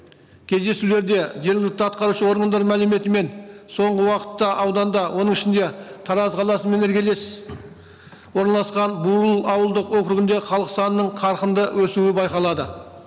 кездесулерде жергілікті атқарушы органдар мәліметімен соңғы уақытта ауданда оның ішінде тараз қаласымен іргелес орналасқан бурыл ауылдық округінде халық санының қарқынды өсуі байқалады